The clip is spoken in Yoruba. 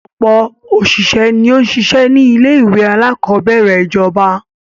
Ọ̀pọ̀ òṣìṣẹ́ ni ó n sisẹ́ ni ilé-ìwé aláàkọ́bẹ̀rẹ̀ ìjọba.